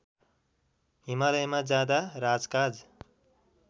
हिमालयमा जाँदा राजकाज